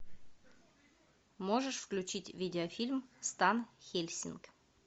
можешь включить видеофильм стан хельсинг